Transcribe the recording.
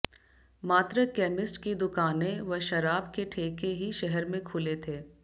मात्र कैमिस्ट की दुकानें व शराब के ठेके ही शहर में खुले थे